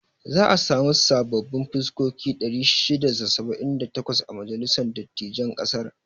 Za a sami sababbin fuskoki 678 a majalisar dattijain ƙasar.